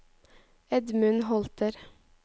Edmund Holter